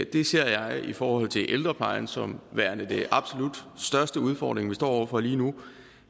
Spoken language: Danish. det ser jeg i forhold til ældreplejen som værende den absolut største udfordring vi står over for lige nu